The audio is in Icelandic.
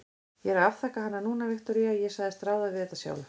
Ég er að afþakka hana núna, Viktoría, ég sagðist ráða við þetta sjálf.